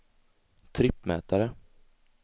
trippmätare